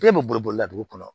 Ne bɛ boli bolila dugu kɔnɔ